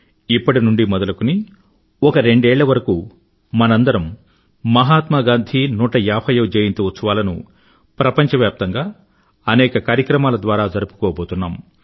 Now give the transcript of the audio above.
ఇప్పటి నుండీ మొదలుకొని ఒక రెండేళ్ళ వరకూ మనందరము మహాత్మా గాంధీ 150వ జయంతి ఉత్సవాలను ప్రపంచవ్యాప్తంగా అనేక కార్యక్రమాల ద్వారా జరుపుకోబోతున్నాం